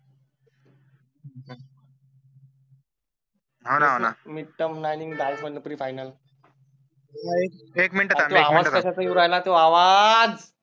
हो ना हो ना. मिड टर्म अरे तो आवाज कश्याचा येऊन राहिला तो आवाज